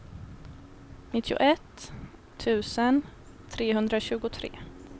nittioett tusen trehundratjugotre